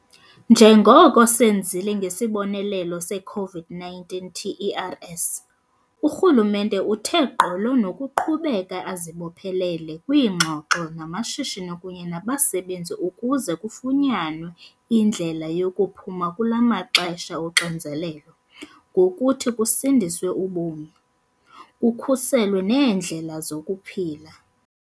Njengoko senzile ngesibonelelo se-COVID-19 TERS, urhulumente uthe gqolo nokuqhubeka azibophelele kwiingxoxo namashishini kunye nabasebenzi ukuze kufunyanwe indlela yokuphuma kula maxesha oxinzelelo ngokuthi kusindiswe ubomi, kukhuselwe neendlela zokuphila.